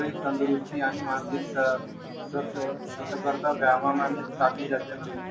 तंदुरुस्ती आणि मानसिक अं